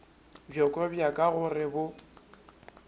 bjoko bja ka gore bo